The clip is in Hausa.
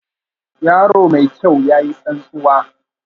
Yaro mai kyau, ya yi tsantsuwa